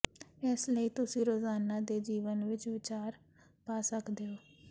ਇਸ ਲਈ ਤੁਸੀਂ ਰੁਜ਼ਾਨਾ ਦੇ ਜੀਵਨ ਵਿਚ ਵਿਚਾਰ ਪਾ ਸਕਦੇ ਹੋ